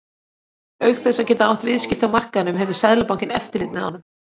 Auk þess að geta átt viðskipti á markaðnum hefur Seðlabankinn eftirlit með honum.